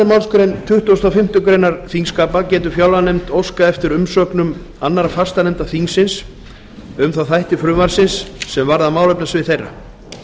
málsgrein tuttugustu og fimmtu greinar þingskapa getur fjárlaganefnd óskað eftir umsögnum annarra fastanefnda þingsins um þá þætti frumvarpsins sem varða málefnasvið þeirra